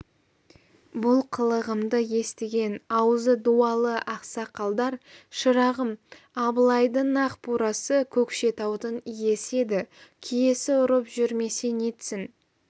бұл қылығымды естіген аузы дуалы ақсақалдар шырағым абылайдың ақ бурасы көкшетаудың иесі еді киесі ұрып жүрмесе нетсін